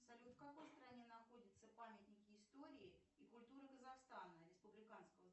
салют в какой стране находятся памятники истории и культуры казахстана республиканского